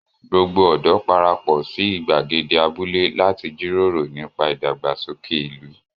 Gbogbo ọ̀dọ́ para pọ̀ sí ìgbàgede abúlé láti jíròrò nípa ìdàgbàsókè ìlú.